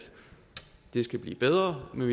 det skal blive bedre men